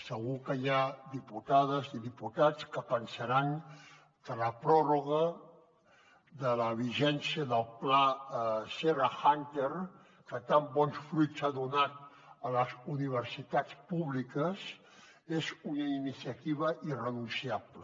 segur que hi ha diputades i diputats que deuen pensar que la pròrroga de la vigència del pla serra húnter que tan bons fruits ha donat a les universitats públiques és una iniciativa irrenunciable